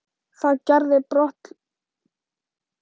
Það gerði brotthlaup konunnar og hneisan.